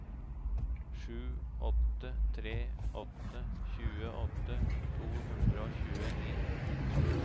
sju åtte tre åtte tjueåtte to hundre og tjueni